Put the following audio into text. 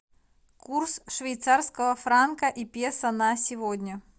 курс швейцарского франка и песо на сегодня